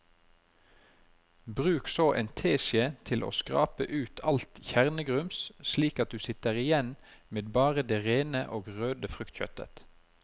Bruk så en teskje til å skrape ut alt kjernegrums slik at du sitter igjen med bare det rene og røde fruktkjøttet.